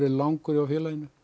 langur hjá félaginu